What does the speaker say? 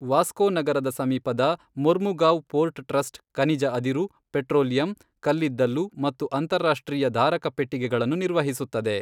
ವಾಸ್ಕೊ ನಗರದ ಸಮೀಪದ Mormugao port trust ಖನಿಜ ಅದಿರು, ಪೆಟ್ರೋಲಿಯಂ, ಕಲ್ಲಿದ್ದಲು ಮತ್ತು ಅಂತರರಾಷ್ಟ್ರೀಯ ಧಾರಕಪೆಟ್ಟಿಗೆಗಳನ್ನು ನಿರ್ವಹಿಸುತ್ತದೆ.